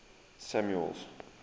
samuel's